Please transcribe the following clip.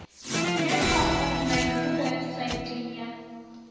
member online mo websaeteng ya